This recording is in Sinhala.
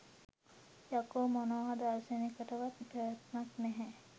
යකෝ මොනම දර්ශනයකටවත් පැවැත්මක් නැහැ